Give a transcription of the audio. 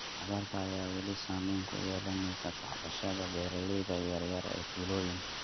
Abaarta ayaa weli saameyn ku yeelanaysa tacbashada beeralayda yar yar ee tuulooyinka.